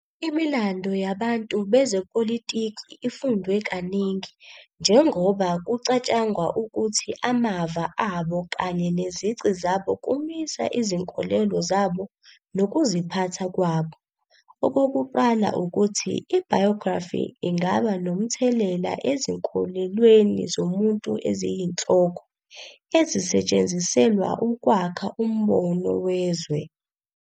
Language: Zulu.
Imilando yabantu bezepolitiki ifundwe kaningi, njengoba kucatshangwa ukuthi amava abo kanye nezici zabo kumisa izinkolelo zabo nokuziphatha kwabo. Okokuqala ukuthi i-biography ingaba nomthelela ezinkolelweni zomuntu eziyinhloko, ezisetshenziselwa ukwakha umbono wezwe.